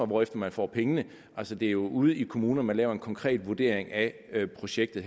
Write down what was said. hvorefter man får pengene altså det er jo ude i kommunerne der foretages en konkret vurdering af projektet